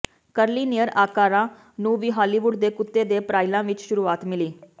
ਕਰਲੀਨਿਅਰ ਆਕਾਰਾਂ ਨੂੰ ਵੀ ਹਾਲੀਵੁੱਡ ਦੇ ਕੁੱਤੇ ਦੇ ਪਰਾਈਲਾਂ ਵਿਚ ਸ਼ੁਰੂਆਤ ਮਿਲੀ